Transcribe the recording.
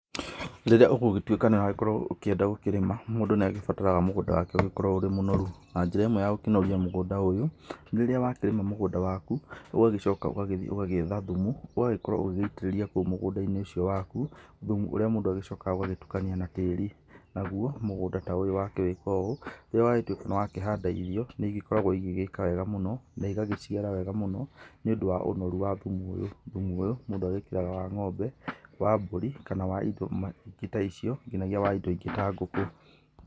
Rĩrĩa ũgũgĩtuĩka nĩũragĩkorwo ũkĩenda gũkĩrĩma, mũndũ nĩagĩbataraga mũgũnda wake ũgĩkorwo ũrĩ mũnoru. Na njĩra ĩmwe ya gũkĩnoria mũgũnda ũyũ rĩrĩa wakĩrĩma mũgũnda waku ũgagĩcoka ũgagĩthiĩ ũgagĩetha thumu ũgagĩkorwo ũgĩgĩitĩrĩria kũu mũgũnda inĩ ũcio waku thumu ũrĩa mũndũ agĩcokaga agagĩtukania na tĩĩri. Naguo mũgũnda ta ũyũ wakĩrĩka ũũ nĩ wagĩtuĩka wakĩhanda irio nĩigĩkoragwo igĩgĩka wega mũno na igagĩciara wega mũno nĩũndũ wa ũnoru wa thumu ũyũ mũndũ agĩkĩraga wa ngombe, wa mbũri kana wa indo ta icio nginyagia wa indo ingĩ ta ngũkũ.